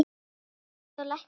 Að lesa og lækna landið.